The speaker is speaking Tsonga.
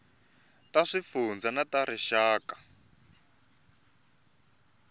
ta swifundzha na ta rixaka